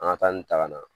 An ka taa nin ta ka na